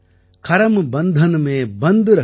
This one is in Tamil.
करम बंधन में बन्ध रहियो फल की ना तज्जियो आस |